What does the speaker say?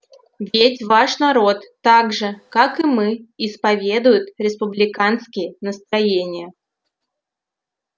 ведь ваш народ так же как и мы исповедует республиканские настроения